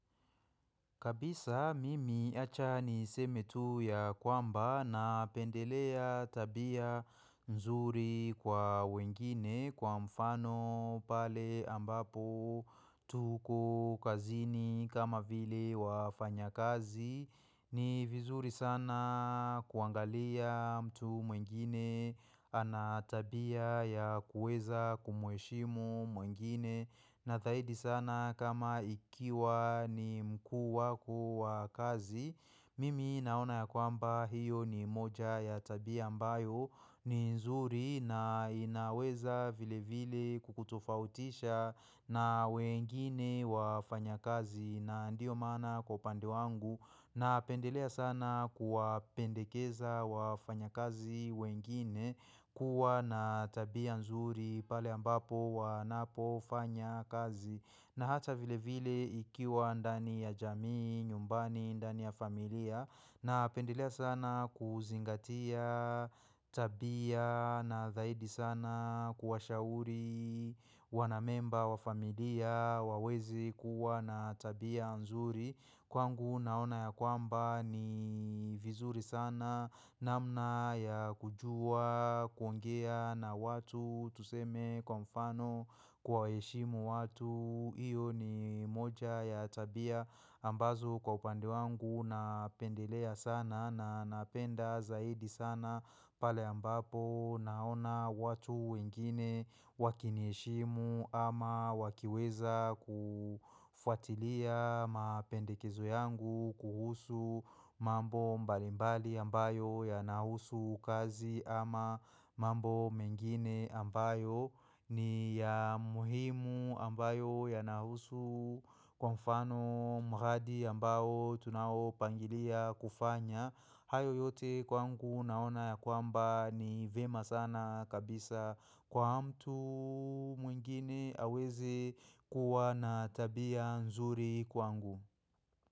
Kabisa mimi achani seme tu ya kwamba na pendelea tabia nzuri kwa wengine kwa mfano pale ambapo tuko kazini kama vile wafanya kazi. Ni vizuri sana kuangalia mtu mwingine, anatabia ya kueza kumueshimu mwingine Nazaidi sana kama ikiwa ni mkuu wako wa kazi Mimi naona ya kwamba hiyo ni moja ya tabia ambayo ni nzuri na inaweza vile vile kukutofautisha na wengine wa fanya kazi na ndio mana kwa upande wangu na pendelea sana kuwa pendekeza wafanya kazi wengine kuwa na tabia nzuri pale ambapo wanapo fanya kazi na hata vile vile ikiwa ndani ya jamii, nyumbani, ndani ya familia na pendelea sana kuzingatia tabia na zaidi sana kuwa shauri wanamemba wafamilia waweze kuwa na tabia nzuri. Kwangu naona ya kwamba ni vizuri sana namna ya kujua kuongea na watu tuseme kwa mfano kwaheshimu watu. Iyo ni moja ya tabia ambazo kwa upande wangu napendelea sana na napenda zaidi sana pale ambapo naona watu wengine wakiniheshimu ama wakiweza kufuatilia mapendekezo yangu kuhusu mambo mbalimbali ambayo ya nahusu kazi ama mambo mengine ambayo. Ni ya muhimu ambayo yanahusu kwa mfano mghadi ambayo tunawo pangilia kufanya hayo yote kwangu naona ya kwamba ni vema sana kabisa kwa mtu mwingine aweze kuwa na tabia nzuri kwangu.